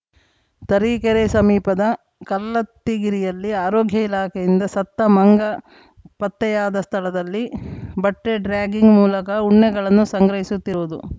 ತರೀಕೆರೆ ಸಮೀಪದ ಕಲ್ಲತ್ತಿಗಿರಿಯಲ್ಲಿ ಆರೋಗ್ಯ ಇಲಾಖೆಯಿಂದ ಸತ್ತ ಮಂಗ ಪತ್ತೆಯಾದ ಸ್ಥಳದಲ್ಲಿ ಬಟ್ಟೆಡ್ರ್ಯಾಗಿಂಗ್‌ ಮೂಲಕ ಉಣ್ಣೆಗಳನ್ನು ಸಂಗ್ರಹಿಸುತ್ತಿರುವುದು